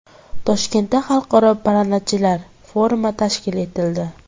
Toshkentda xalqaro parrandachilar forumi tashkil etildi.